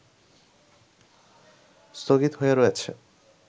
স্থগিত হয়ে রয়েছে